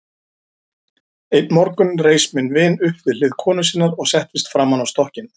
Einn morgun reis minn vin upp við hlið konu sinnar og settist framan á stokkinn.